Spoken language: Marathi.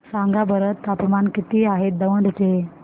सांगा बरं तापमान किती आहे दौंड चे